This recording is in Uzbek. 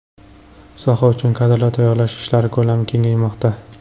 Soha uchun kadrlar tayyorlash ishlari ko‘lami kengaymoqda.